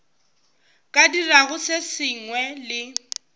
ka dirago se sengwe le